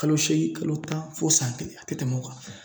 Kalo seegin kalo tan fɔ san kelen a te tɛmɛ o kan